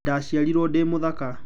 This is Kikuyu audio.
Ndaciarirwo ndĩ mũthaka.